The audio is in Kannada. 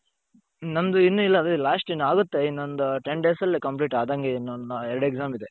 ನಂದು ಇನ್ನು ಇಲ್ಲ ಅದೇ last ಇನ್ನಾಗುತ್ತೆ ಇನ್ನೊಂದು ten days ಅಲ್ಲಿ complete ಆದಂಗೆ ಇನ್ನೊಂದು ಎರಡು exam ಇದೆ.